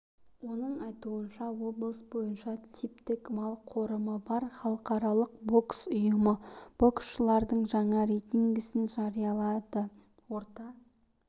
оның айтуынша облыс бойынша типтік мал қорымы бар халықаралық бокс ұйымы боксшылардың жаңа рейтингісін жариялады орта